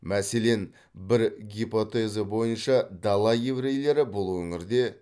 мәселен бір гипотеза бойынша дала еврейлері бұл өңірде